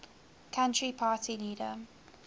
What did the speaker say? country party leader